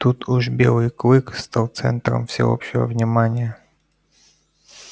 тут уж белый клык стал центром всеобщего внимания